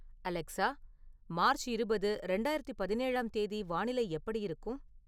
Alexa March இருபது இரண்டாயிரத்து பதினேழாம் தேதி வானிலை எப்படி இருக்கும்